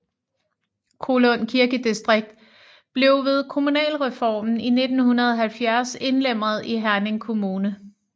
Kollund Kirkedistrikt blev ved kommunalreformen i 1970 indlemmet i Herning Kommune